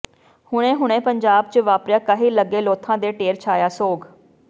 ਹੁਣੇ ਹੁਣੇ ਪੰਜਾਬ ਚ ਵਾਪਰਿਆ ਕਹਿਰ ਲਗੇ ਲੋਥਾਂ ਦੇ ਢੇਰ ਛਾਇਆ ਸੋਗ